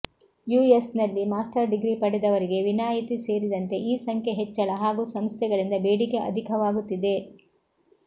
US ನಲ್ಲಿ master degree ಪಡೆದವರಿಗೆ ವಿನಾಯಿತಿ ಸೇರಿದಂತೆ ಈ ಸಂಖ್ಯೆ ಹೆಚ್ಚಳ ಹಾಗೂ ಸಂಸ್ಥೆಗಳಿಂದ ಬೇಡಿಕೆ ಅಧಿಕವಾಗುತ್ತಿದೆ